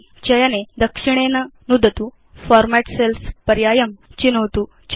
चयने दक्षिणेन नुदतु Format cells पर्यायं चिनोतु च